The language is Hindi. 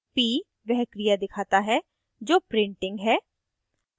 p वह क्रिया दिखाता है जो printing p है